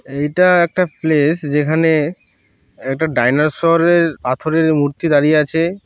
এইটা একটা প্লেস যেখানেএকটা ডাইনোসর এর পাথরের মূর্তি দাঁড়িয়ে আছে।